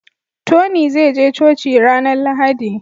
Tony zai je coci ranar lahadi